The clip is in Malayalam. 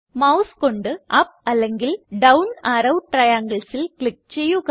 മൌസ് കൊണ്ട് അപ്പ് അല്ലെങ്കിൽ ഡൌൺ അറോ trianglesൽ ക്ലിക്ക് ചെയ്യുക